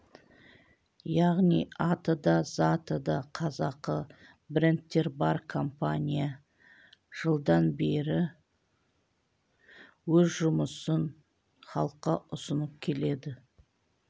яғни аты да заты да қазақы брендтер бар компания жылдан бері өз жұмысын халыққа ұсынып келеді